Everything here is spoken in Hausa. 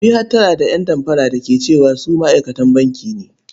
Ku yi hattara da ƴan damfara da ke cewa su ma'aikatan banki ne.